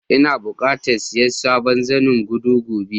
lna buƙatan siya sabon zanen godo gobe.